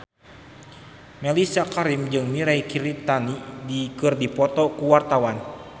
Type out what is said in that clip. Mellisa Karim jeung Mirei Kiritani keur dipoto ku wartawan